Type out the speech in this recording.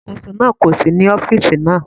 Alákóso náà kò sí ní ọ́fíìsì náà.